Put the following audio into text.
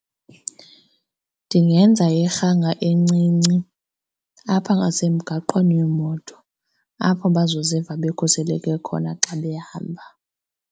Ndingenza irhanga encinci apha ngasemgaqweni wemoto apho bazoziva bekhuseleke khona xa behamba.